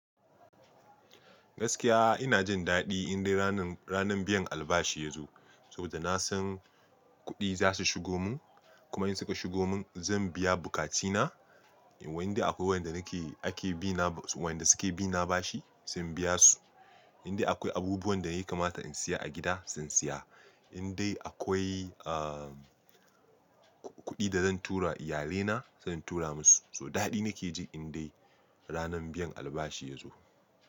Gaskiya ina jin daɗi in dai ranan, ranan biyan albashi ya zo. Saboda na san kuɗi za su shigo mun, kuma in suka shigo mun zan biya bukatina. Indai akwai wanda nake ake bi na, wanda suke bi na bashi zan biya su. Indai akwai abubuwan da ya kamata in siya a gida zan siya. Indai akwai, kuɗi da zan tura iyalina zan tura musu. To daɗi nake ji in dai ranan biyan albashi ya zo.